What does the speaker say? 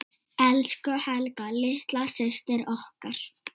Elsku Helga litla systir okkar.